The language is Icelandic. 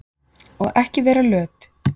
Og ekki vera löt!